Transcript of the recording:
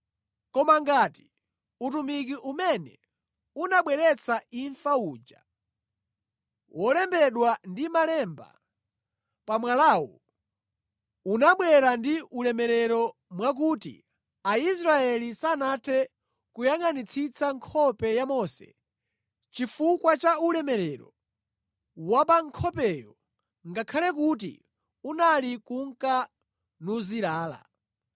Koma ngati utumiki umene unabweretsa imfa uja, wolembedwa ndi malemba pa mwalawu, unabwera ndi ulemerero mwakuti Aisraeli sanathe kuyangʼanitsitsa nkhope ya Mose chifukwa cha ulemerero wa pa nkhopeyo, ngakhale kuti unali kunka nuzilala,